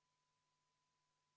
Tervitan reipaid nägusid saalis.